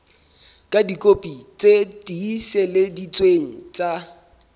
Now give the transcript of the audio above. ka dikopi tse tiiseleditsweng tsa